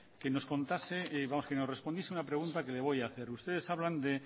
que nos contase vamos que nos respondiese a una pregunta que le voy a hacer ustedes hablan de